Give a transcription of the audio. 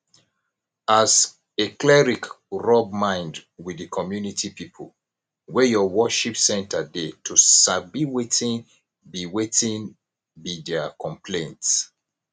as a cleric rub mind with di community pipo wey your worship center dey to sabi wetin be wetin be their complaints